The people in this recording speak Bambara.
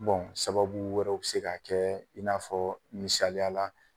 sababu wɛrɛw be se ka kɛ, i n'a fɔ misaliya la